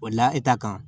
O la e ta kan